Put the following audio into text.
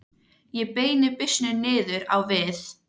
Ég beini byssunni niður á við.